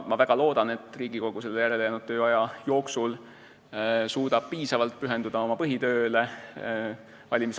Ma väga loodan, et Riigikogu selle järelejäänud tööaja jooksul suudab valimiskampaania kõrval piisavalt pühenduda oma põhitööle.